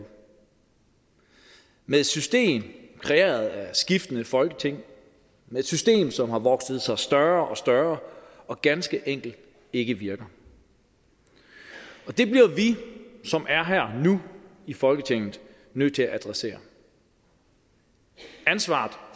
med et system kreeret af skiftende folketing et system som har vokset sig større og større og ganske enkelt ikke virker det bliver vi som er her nu i folketinget nødt til at adressere ansvaret